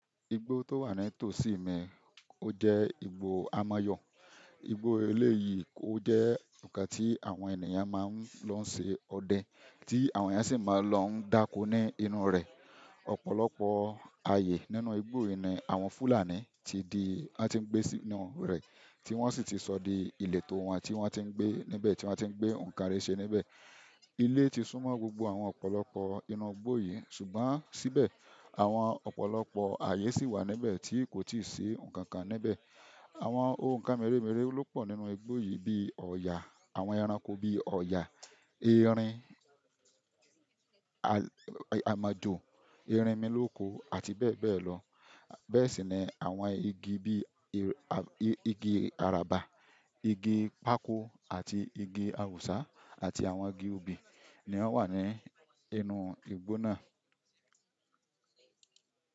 Igbo to wa ni toosi mi oje igbo amazon. Igbó eleyìí ó jẹ́ nǹkan tí àwọn ènìyàn máa ń lọ ṣe ọdẹ, tí àwọn ẹ̀yan si máa lọ ń dáko ní inú rẹ̀. Ọ̀pọ̀lọpọ̀ ààyè nínú igbó yìí ni àwọn Fúlàní ti di, wọ́n ti ń gbé sínú rẹ̀, tí wọ́n sì ti sọ di ìletò wọn, tí wọ́n ti ń gbé níbẹ̀, tí wọ́n ti ń gbé ǹkan rere ṣe níbẹ̀. Ilé ti súnmọ́ gbogbo àwọn ọ̀pọ̀lọpọ̀ inú igbó yìí, ṣùgbọ́n síbẹ̀ àwọn ọ̀pọ̀lọpọ̀ ààyè sì wà níbẹ̀ tí kò tíì ṣe ǹkan kan níbẹ̀. Àwọn òǹkan meremere ló pọ̀ nínú igbó yìí bíi ọ̀yà, àwọn ẹranko bíi ọ̀yà, erin, amájù, erinmilóko àti bẹ́ẹ̀ bẹ́ẹ̀ lọ. Bẹ́ẹ̀ sì ni àwọn igi bí i, à, igi àràbà, igi pákó àti igi awùsá àti àwọn igi òbí ni wọ́n wà ní inú igbó náà.